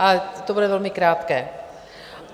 Ale to bude velmi krátké.